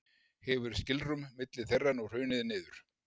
Hefur skilrúm milli þeirra nú hrunið niður.